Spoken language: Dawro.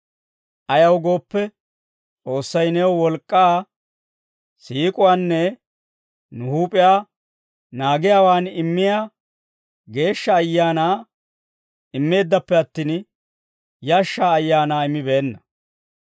Ayaw gooppe, S'oossay nuw wolk'k'aa, siik'uwaanne nu huup'iyaa naagiyaawaa immiyaa Geeshsha Ayaanaa immeeddappe attin, yashshaa ayaanaa immibeenna.